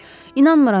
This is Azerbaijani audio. İnanmıram, Dick.